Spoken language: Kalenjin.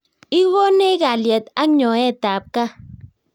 Igonech kalyet ak nyoetab kaat